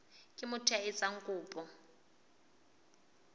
ke motho ya etsang kopo